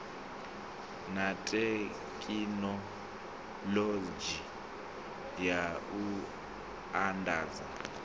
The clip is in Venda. na thekhinoḽodzhi ya u andadza